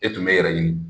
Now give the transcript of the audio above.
E tun bɛ yɛrɛ ɲini